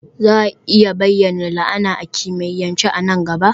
Za a iya bayyana la'ana a kimiyyance a nan gaba?